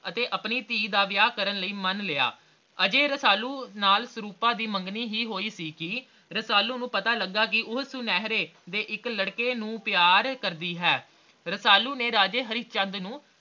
ਅਤੇ ਆਪਣੀ ਧੀ ਦਾ ਵਿਆਹ ਕਰਨ ਲਈ ਮਨ ਲਿਆ ਅਜੇ ਰਸਾਲੂ ਨਾਲ ਸਰੂਪਾ ਦੀ ਮੰਗਣੀ ਹੀ ਹੋਈ ਸੀ ਕੇ ਰਸਾਲੂ ਨੂੰ ਪਤਾ ਲਗਾ ਕੇ ਉਹ ਸੁਨਹਿਰੇ ਦੇ ਇਕ ਲੜਕੇ ਨੂੰ ਪਿਆਰ ਕਰਦੀ ਹੈ ਰਸਾਲੂ ਨੇ ਰਾਜੇ ਹਰੀਚੰਦ ਨੂੰ